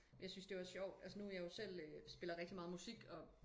Jeg synes det var sjovt altså nu jeg jo selv spiller rigtig meget musik og